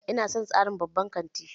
Ina son tsarin babban kanti